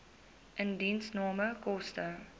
indiensname koste